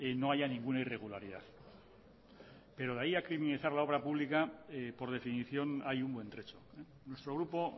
no haya ninguna irregularidad pero de ahí a criminalizar la obra pública por definición hay un buen trecho nuestro grupo